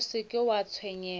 o se ke wa tshwenyega